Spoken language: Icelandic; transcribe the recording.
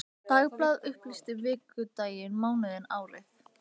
Hversu mikil örorka sé óumflýjanleg afleiðing af aðgerðinni?